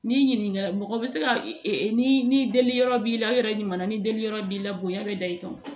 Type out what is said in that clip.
N'i ɲininka mɔgɔ bɛ se ka e ni deli yɔrɔ b'i la i yɛrɛ ɲuman na ni deli yɔrɔ b'i la bonya bɛ da i kan o